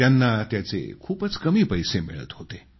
त्यांना त्याचे खूपच कमी पैसे मिळत होते